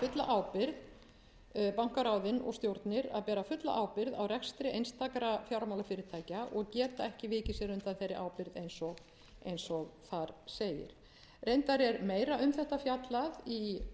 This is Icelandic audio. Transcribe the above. fulla ábyrgð bankaráðin og stjórnir að bera fulla ábyrgð á rekstri einstakra fjármálafyrirtækja og geta ekki vikið sér undan þeirri ábyrgð eins og þar segir reyndar er meira um þetta fjallað í drögum að eigendastefnu